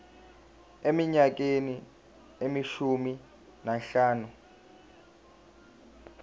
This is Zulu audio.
eminyakeni eyishumi nanhlanu